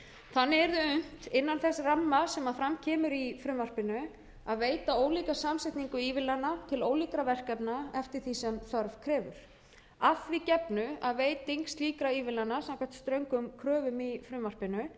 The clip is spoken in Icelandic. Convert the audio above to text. þannig yrði unnt innan þess ramma sem fram kemur í frumvarpinu að veita ólíka samsetningu ívilnana til ólíkra verkefna eftir því sem þörf krefur að því gefnu að veiting slíkra ívilnana samkvæmt ströngum kröfum í frumvarpinu hafi